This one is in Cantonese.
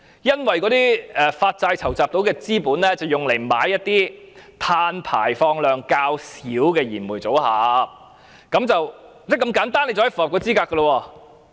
因為發債籌集所得的資金是用作購買一些碳排放量較小的燃煤機組，就這麼簡單便可以符合資格了。